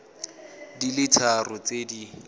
di le tharo tse di